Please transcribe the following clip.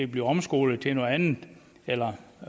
blive omskolet til noget andet eller